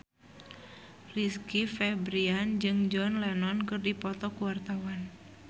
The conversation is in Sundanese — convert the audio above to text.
Rizky Febian jeung John Lennon keur dipoto ku wartawan